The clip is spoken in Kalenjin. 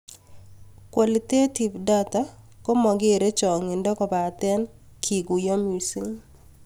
Qualitative data ko makerei cho'ngindo kobate kekuiyo missing